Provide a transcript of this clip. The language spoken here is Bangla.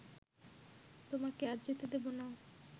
তোমাকে আর যেতে দেবো না